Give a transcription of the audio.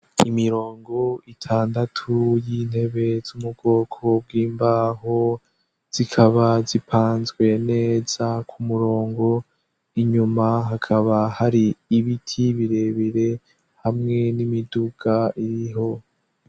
Imirongo itandatu y'intebe z'umugoko bw'imbaho zikaba zipanzwe neza ku murongo inyuma hakaba hari ibiti birebire hamwe n'imiduga iriho.